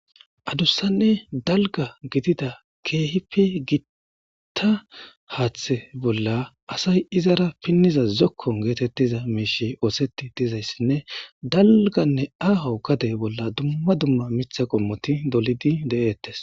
adussanne dalga gidida keehipe giitta haaththe bolla asay izara pinniza zokkon geetettiza meeshe ooseti dizayssinne dalganne aaho gade bolla dumma dumma mitha qommoti dolidi de7eettes